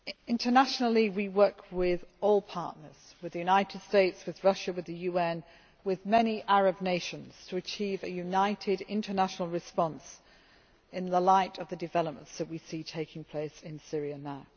Internationally we work with all partners the United States, Russia, the UN and many Arab nations to achieve a united international response in the light of the developments that we see taking place in Syria now.